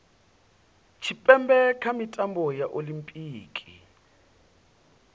tshipembe kha mitambo ya olimpiki